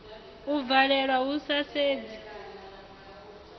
u valelwa hu sa sedzi